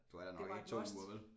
Du er der nok ikke 2 uger vel